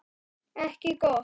Ekki gott.